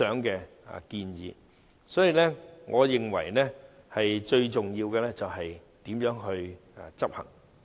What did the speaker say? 所以，我認為最重要的是怎樣執行。